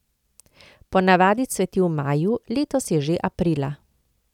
Po navadi cveti v maju, letos je že aprila.